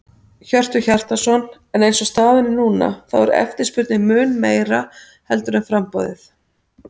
Hjörtur Hjartarson: En eins og staðan er núna, þá eftirspurnin mun meira heldur en framboðið?